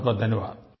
बहुतबहुत धन्यवाद